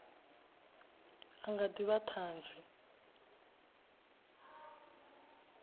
a nga ḓi vha ṱhanzi